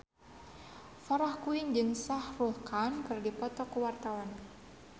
Farah Quinn jeung Shah Rukh Khan keur dipoto ku wartawan